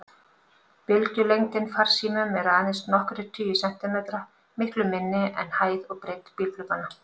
Bylgjulengdin farsímum er aðeins nokkrir tugir sentimetra, miklu minni en hæð og breidd bílglugganna.